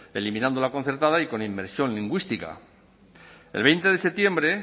eliminando la concertada y con inmersión lingüística el veinte de septiembre